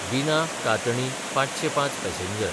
बिना–कातणी ५०५ passenger